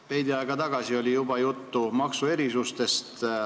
Veidi aega tagasi oli juba juttu maksuerisustest.